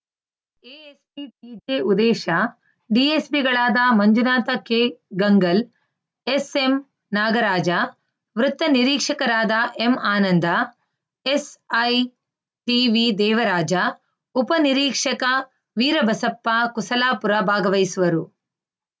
ASP TJ Udesh ಡಿಎಸ್ಪಿಗಳಾದ ಮಂಜುನಾಥ ಕೆಗಂಗಲ್‌ SM Nagaraja ವೃತ್ತ ನಿರೀಕ್ಷಕರಾದ ಎಂಆನಂದ ಎಸ್‌ಐ ಟಿವಿ ದೇವರಾಜ ಉಪ ನಿರೀಕ್ಷಕ ವೀರಬಸಪ್ಪ ಕುಸಲಾಪುರ ಭಾಗವಹಿಸುವರು